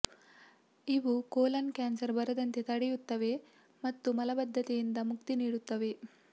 ಇವು colon cancer ಬರದಂತೆ ತಡೆಯುತ್ತವೆ ಮತ್ತು ಮಲಬದ್ಧತೆಯಿಂದ ಮುಕ್ತಿ ನೀಡುತ್ತವೆ